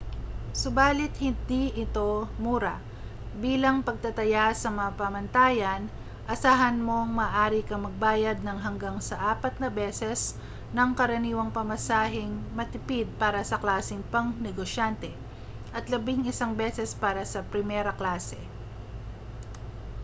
subali't hindi ito mura bilang pagtataya sa mga pamantayan asahan mong maaari kang magbayad ng hanggang sa apat na beses ng karaniwang pamasaheng matipid para sa klaseng pangnegosyante at labing-isang beses para sa primera klase